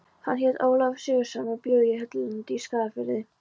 Hann hét Ólafur Sigurðsson og bjó á Hellulandi í Skagafirði.